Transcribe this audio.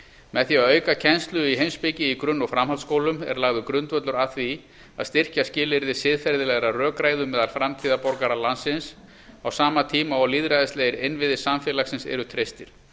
með því að auka kennslu í heimspeki í grunn og framhaldsskólum er lagður grundvöllur að því að styrkja skilyrði siðferðilegrar rökræðu meðal framtíðarborgara landsins á sama tíma og lýðræðislegir innviðir samfélagsins eru treystir